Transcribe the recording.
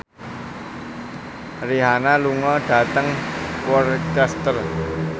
Rihanna lunga dhateng Worcester